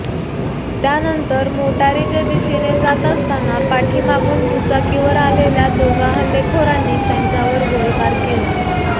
त्यानंतर मोटारीच्या दिशेने जात असताना पाठीमागून दुचाकीवर आलेल्या दोघा हल्लेखोरांनी त्यांच्यावर गोळीबार केला